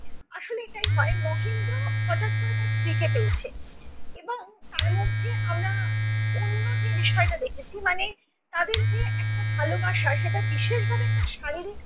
একটাই ভয় মহেন্দ্র হঠাৎ করে তার স্ত্রীকে পেয়েছে এবং তারমধ্যে আমরা অন্য যে বিষয়টা দেখেছি মানে তাদের যে একটা ভালোবাসা সেটা বিশেষভাবে একটা শারীরিক